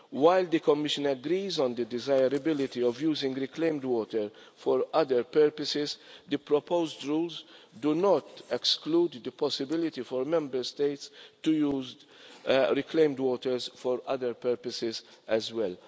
While the Commission agrees on the desirability of using reclaimed water for other purposes, the proposed rules do not exclude the possibility of Member States' using reclaimed waters for other purposes as well.